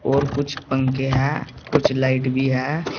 और कुछ पंखे हैं कुछ लाइट भी है।